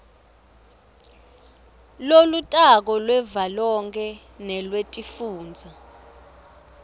lolutako lwavelonkhe nelwetifundza